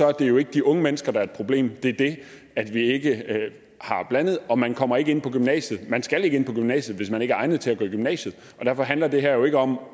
er det jo ikke de unge mennesker der er et problem det er det at vi ikke har blandede grupper man kommer ikke ind på gymnasiet og man skal ikke ind på gymnasiet hvis man ikke er egnet til at gå i gymnasiet og derfor handler det her jo ikke om